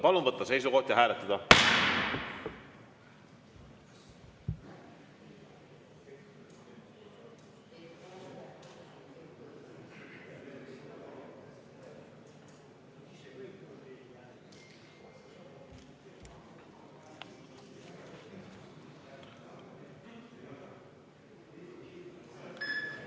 Palun võtta seisukoht ja hääletada!